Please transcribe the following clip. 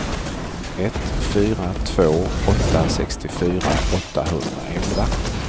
ett fyra två åtta sextiofyra åttahundraelva